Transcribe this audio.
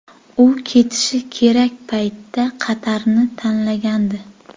U ketishi kerak paytda Qatarni tanlagandi.